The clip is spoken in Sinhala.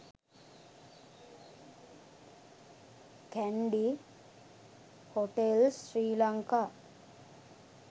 kandy hotels sri lanka